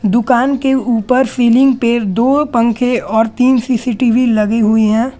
दुकान के ऊपर सीलिंग पे दो पंखे और तीन सी_सी_टी_वी लगी हुई है।